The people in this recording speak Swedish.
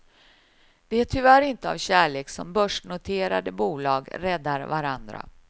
Det är tyvärr inte av kärlek som börsnoterade bolag räddar varandra.